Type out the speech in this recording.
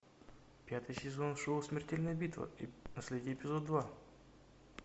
пятый сезон шоу смертельная битва последний эпизод два